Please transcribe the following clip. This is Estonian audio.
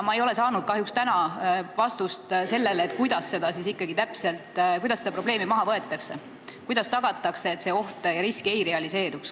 Ma ei ole saanud kahjuks täna vastust, kuidas seda probleemi täpselt maha võtma hakatakse, kuidas tagatakse, et see oht ja risk ei realiseeruks.